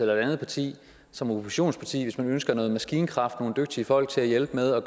et andet parti som oppositionsparti hvis man ønsker noget maskinkraft nogle dygtige folk til at hjælpe med at